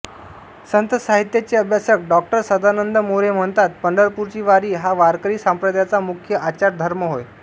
संत साहित्याचे अभ्यासक डॉ सदानंद मोरे म्हणतात पंढरपूरची वारी हा वारकरी संप्रदायाचा मुख्य आचारधर्म होय